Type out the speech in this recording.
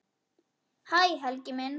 Hæ Helgi minn.